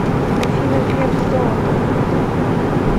афина греф золото